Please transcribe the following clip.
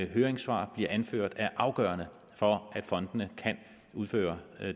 høringssvar bliver anført er afgørende for at fondene kan udføre